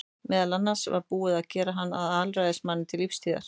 Meðal annars var búið að gera hann að alræðismanni til lífstíðar.